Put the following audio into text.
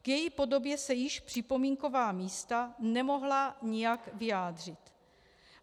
K její podobě se již připomínková místa nemohla nijak vyjádřit.